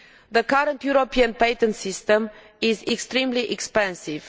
The current European patent system is extremely expensive.